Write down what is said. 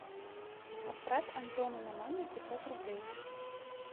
отправь антону на номер пятьсот рублей